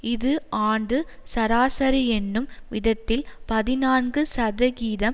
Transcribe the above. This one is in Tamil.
இது ஆண்டு சராசரி என்னும் விதத்தில் பதினான்கு சதிகிதம்